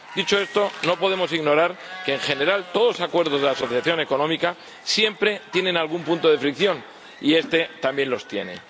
Dicho esto, no podemos ignorar que, en general, todos los acuerdos de asociación económica siempre tienen algún punto de fricción, y este también los tiene.